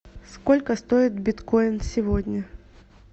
сколько стоит биткоин сегодня